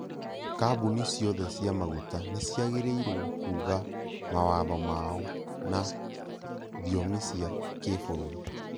Kambuni ciothe cia maguta nĩciagĩrĩirwo kuuga mawatho maao na thiomi cia kibũrũri